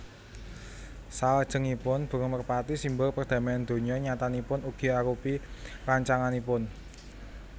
Salajengipun burung merpati simbol perdamaian donya nyatanipun ugi arupi rancanganipun